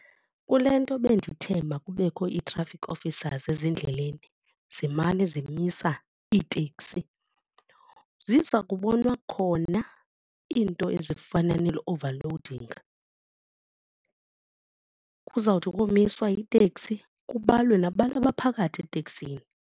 Kule nto bendithe makubekho ii-traffic officers ezindleleni zimane zimisa iiteksi, ziza kubonwa khona iinto ezifana nee-overloading. Kuzawuthi komiswe iteksi kubalwe nabantu abaphakathi eteksini.